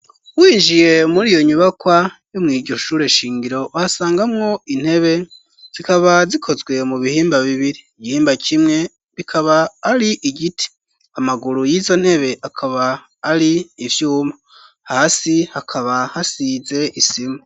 Winjiye muri iyo nyubakwa yo mwiryo shure eshingiro wasangamwo intebe zikaba zikozwe mu bihimba bibiri igihimba kimwe bikaba ari igiti amaguru y'izo ntebe akaba ari ivyuma hasi hakaba hasize isima.